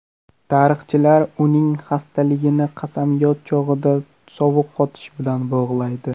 Tarixchilar uning xastaligini qasamyod chog‘ida sovuq qotish bilan bog‘laydi.